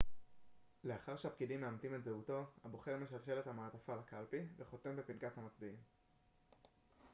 לאחר שהפקידים מאמתים את זהותו הבוחר משלשל את המעטפה לקלפי וחותם בפנקס המצביעים